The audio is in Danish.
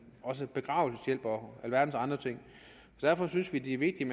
også begravelseshjælp og alverdens andre ting derfor synes vi det er vigtigt